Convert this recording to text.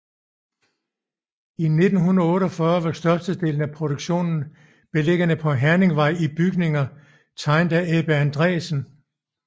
I 1948 var størstedelen af produktionen beliggende på Herningvej i bygninger tegnet af Ebbe Andresen